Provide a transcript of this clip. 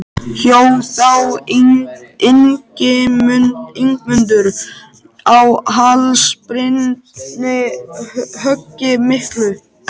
Hjó þá Ingimundur á háls Birni höggi miklu.